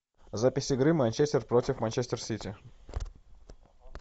запись игры манчестер против манчестер сити